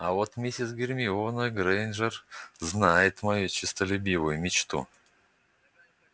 а вот мисис гермиона грэйнджер знает мою честолюбивую мечту